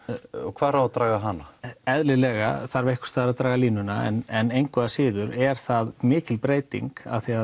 hvar á að draga hana eðlilega þarf einhvers staðar að draga línuna en engu að síður er það mikil breyting af því